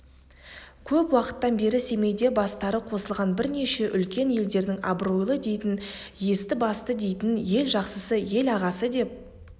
көп уақыттан бері семейде бастары қосылған бірнеше үлкен елдердің абыройлы дейтін есті-басты дейтін ел жақсысы ел ағасы деп